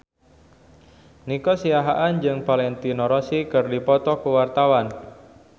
Nico Siahaan jeung Valentino Rossi keur dipoto ku wartawan